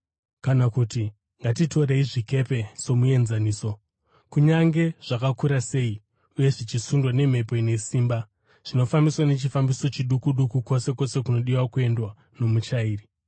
Kana kuti ngatitorei zvikepe somuenzaniso. Kunyange zvakakura sei uye zvichisundwa nemhepo ine simba, zvinofambiswa nechifambiso chiduku duku kwose kwose kunodiwa kuendwa nomuchairi.